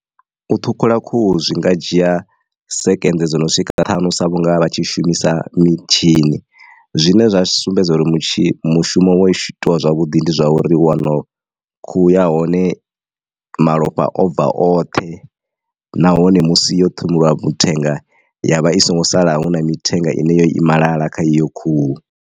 U ṱhukhula khuhu zwi nga dzhia second dzo no swika ṱhanu sa vhunga vha tshi shumisa mitshini zwine zwa sumbedza uri mushumo wo itiwa zwavhuḓi ndi zwa uri wono khuhu ya hone malofha o bva oṱhe nahone musi yo ṱhuvhiwa mithenga ya vha i songo sala hu na mithenga ine yo i malala kha iyo khuhu.